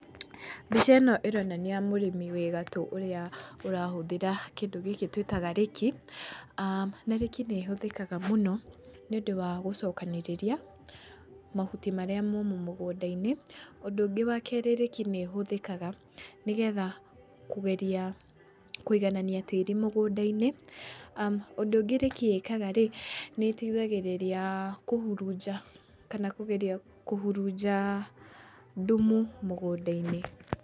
Mbica ĩno ĩronania mũrĩmi wĩgatũ ũrĩa ũrahũthĩra kĩndũ gĩkĩ twĩtaga rĩki. Na rĩki nĩ ĩhũthikaga mũno nĩ ũndũ wa gũcokanĩrĩria mahuti marĩa momũ mũgũndainĩ. Ũndũ ũngĩ wa kerĩ rĩki nĩ ĩhũthĩkaga nĩ getha kũgeria kũiganania tĩĩri mũgũndainĩ. Ũndũ ũngĩ rĩki ĩkagarĩ, nĩ ĩteithagĩrĩria kũhurunja kana kũgeria kũhurunja thumu mũgũndainĩ.